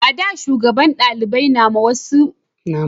a da shugaban dalibai na ma sauran daliban duka